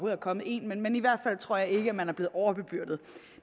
er kommet en men men i hvert fald tror jeg ikke man er blevet overbebyrdet